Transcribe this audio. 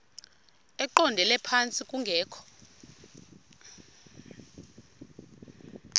eqondele phantsi kungekho